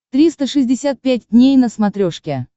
триста шестьдесят пять дней на смотрешке